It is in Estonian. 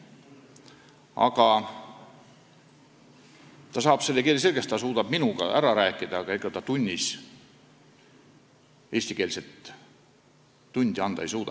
Aga ta saab keele selgeks sel tasemel, et ta suudab minuga rääkida, kuid ega ta eestikeelset tundi anda ei suuda.